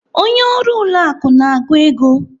Onye ọrụ ụlọ akụ na-agụ ego.